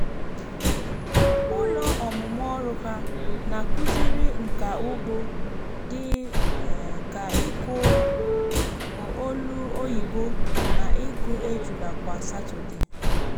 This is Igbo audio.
ụlọ ọmụmụ ọrụ ha na-akụziri nka ugbo dị um ka ịkụ olu oyibo na ịkụ ejula kwa satọdee.